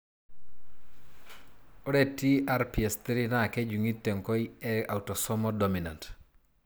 Ore TRPS3 na kejungi tenkoi e autosomal dominant.